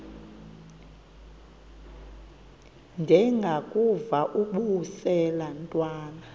ndengakuvaubuse laa ntwana